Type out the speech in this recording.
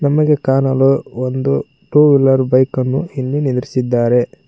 ನಮಗೆ ಕಾಣಲು ಒಂದು ಟು ವೀಲರ್ ಬೈಕ್ ಅನ್ನು ಇಲ್ಲಿ ನಿದ್ರಿಸಿದ್ದಾರೆ.